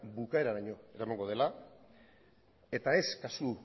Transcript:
bukaeraraino eramango dela eta kasu